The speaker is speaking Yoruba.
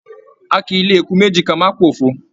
A kìí lè eku méjì ká má p'ofo.